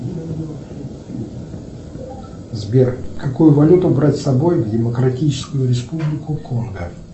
сбер какую валюту брать с собой в демократическую республику конго